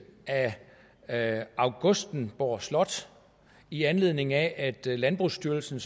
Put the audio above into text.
af augustenborg slot i anledning af at landbrugsstyrelsen